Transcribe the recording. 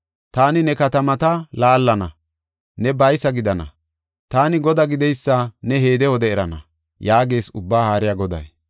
Taani ne katamata laallana; ne baysa gidana. Taani Godaa gideysa ne he wode erana’ ” yaagees Ubbaa Haariya Goday.